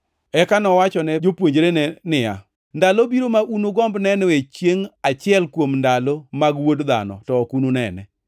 Eka nowachone jopuonjre niya, “Ndalo biro ma unugomb nenoe chiengʼ achiel kuom ndalo mag Wuod Dhano, to ok ununene.